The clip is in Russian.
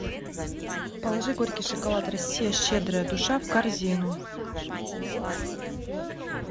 положи горький шоколад россия щедрая душа в корзину